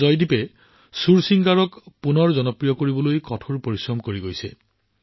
কিন্তু জয়দীপে সুৰচিংগাৰক আকৌ এবাৰ জনপ্ৰিয় কৰাৰ দিশত অটল হৈছে